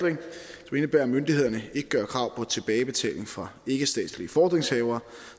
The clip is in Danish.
vil jeg at myndighederne ikke gør krav på tilbagebetaling fra ikkestatslige fordringshavere